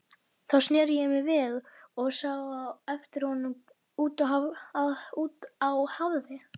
Þá sneri ég mér við og sá á eftir honum út á hafið.